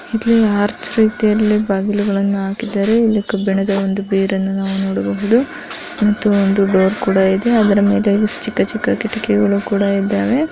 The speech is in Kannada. ಇಲ್ಲಿ ಆರ್ಚ್ಬಾ ರೀತಿಯಲ್ಲಿ ಬಾಗಿಲುಗಳನ್ನು ಹಾಕಿದ್ದಾರೆ ಹಾಗೂ ಇಲ್ಲಿ ಕಬ್ಬಿಣದ ಒಂದು ಬಿರುವನ್ನು ನೋಡಬಹುದು ಮತ್ತು ಒಂದು ಡೋರ್ ಕೂಡ ಇದೆ ಅದರ ಮೇಲೆ ಚಿಕ್ಕ ಚಿಕ್ಕ ಕಿಟಕಿ ಗಳು ಕೂಡ ಇದ್ದಾವೆ.